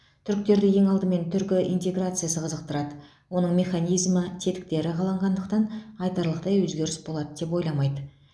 түріктерді ең алдымен түркі интеграциясы қызықтырады оның механизмі тетіктері қаланғандықтан айтарлықтай өзгеріс болады деп ойламайды